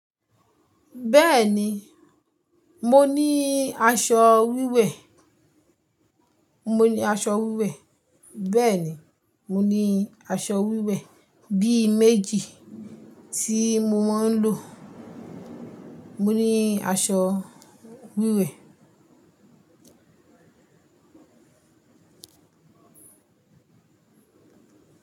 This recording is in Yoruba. Bẹ́ẹ̀ni, mo ní aṣọ wíwẹ̀. Mo ní aṣọ wíwẹ̀, bẹ́ẹ̀ni. Mo ní aṣọ wíwẹ̀ bí i méjì tí mo máa ń lò. Mo ní aṣọ wíwẹ̀.